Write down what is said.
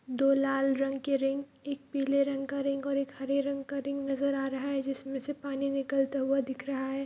दो लाल रंग के रिंग एक पीले रंग का रिंग और एक हरे रंग का रिंग नज़र आ रहा है जिसमे से पानी निकलता हुआ दिख रहा है ।